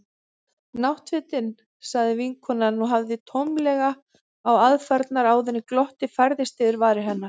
Náttfötin. sagði vinkonan og horfði tómlega á aðfarirnar áður en glottið færðist yfir varir hennar.